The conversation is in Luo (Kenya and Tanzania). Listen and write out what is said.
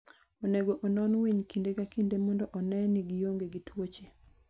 Onego onon winy kinde ka kinde mondo one ni gionge gi tuoche.